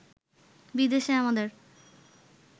বিদেশে আমাদের